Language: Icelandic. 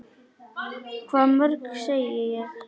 Hvað mörg, segi ég.